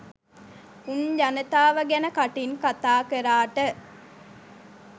උන් ජනතාව ගැන කටින් කතාකරාට